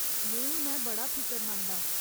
में हुनै बड़ा फिकरमंद आं।